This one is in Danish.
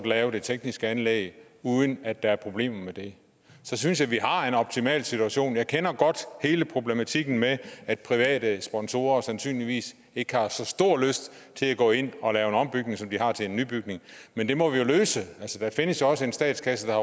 lave det tekniske anlæg uden at der er problemer med det så synes jeg at vi har en optimal situation jeg kender godt hele problematikken med at private sponsorer sandsynligvis ikke har så stor lyst til at gå ind og lave en ombygning som de har til en nybygning men det må vi jo løse altså der findes jo også en statskasse der